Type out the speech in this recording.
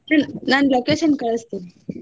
ನಾನ್ location ಕಳ್ಸ್ತೇನಿ.